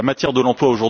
de l'emploi